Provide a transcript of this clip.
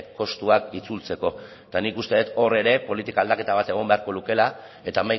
kostuak itzultzeko eta nik uste dut hor ere politika aldaketa bat egon beharko lukeela eta